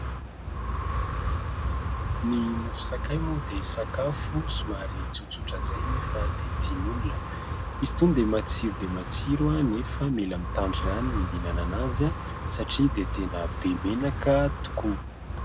Ny mofo sakay moa dia sakafo somary tsotsotra izay nefa dia tian'olona. Izy itony dia matsiro dia matsiro nefa mila mitandrina ihany mihinana azy satria dia tena be menaka tokoa.